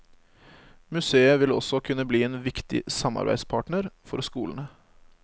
Museet vil også kunne bli en viktig samarbeidspartner for skolene.